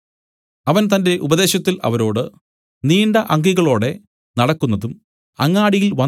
അവൻ തന്റെ ഉപദേശത്തിൽ അവരോട് നീണ്ട അങ്കികളോടെ നടക്കുന്നതും അങ്ങാടിയിൽ